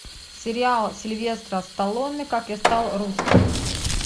сериал сильвестра сталлоне как я стал русским